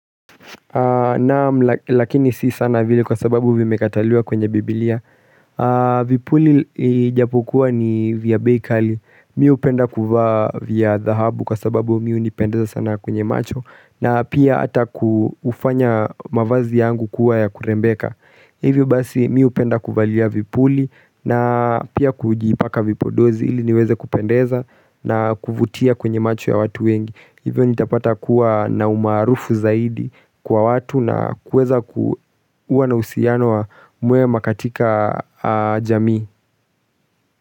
Naam, lakini si sana vile kwa sababu vimekataliwa kwenye biblia Vipuli ijapo kuwa ni vya beikali mi hupenda kuvaa vya dhahabu kwa sababu mi hunipendeza sana kwenye macho na pia ata kufanya mavazi yangu kuwa ya kurembeka Hivyo basi mi hupenda kuvalia vipuli na pia kujiipaka vipodozi ili niweze kupendeza na kuvutia kwenye macho ya watu wengi Hivyo nitapata kuwa na umaarufu zaidi kwa watu na kuweza kuwa na uhusiano wa mwema katika jamii.